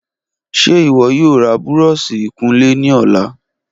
Ṣe iwọ yoo ra búrọ̀ọ̀sì ìkunlé ni ọla?